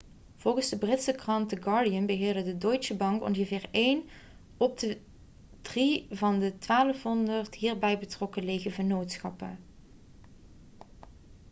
volgens de britse krant the guardian beheerde deutsche bank ongeveer een op de drie van de 1200 hierbij betrokken lege vennootschappen